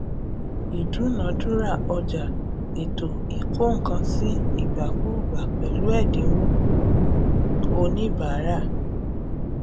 ìdúnadúrà ọjà ètò ìkónǹkansí ìgbàkúgbà pẹlú ẹdínwó oníbàárà